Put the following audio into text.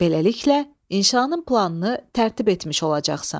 Beləliklə, inşanın planını tərtib etmiş olacaqsan.